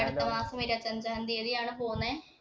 അടുത്ത മാസം ഇരുപത്തി അഞ്ചാം തീയതി ആണ് പോന്നെ.